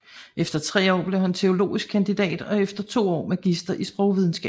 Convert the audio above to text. Efter tre år blev han teologisk kandidat og efter to år magister i sprogvidenskab